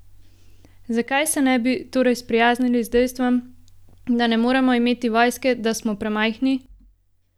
Zakaj se ne bi torej sprijaznili s dejstvom, da ne moremo imeti vojske, da smo premajhni?